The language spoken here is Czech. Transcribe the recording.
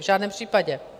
V žádném případě.